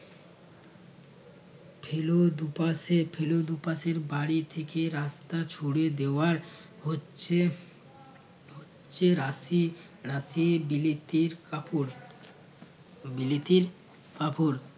ছিলো দু'পাশে ছিলো দু'পাশের বাড়ির থেকে রাস্তা ছুঁড়ে দেওয়া হচ্ছে হচ্ছে রাশি রাশি বিলিতির কাপড় বিলিতির কাপড়